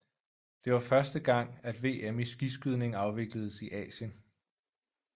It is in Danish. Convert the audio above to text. Det var første gang at VM i skiskydning afvikledes i Asien